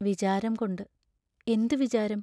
വിചാരംകൊണ്ട് എന്തു വിചാരം?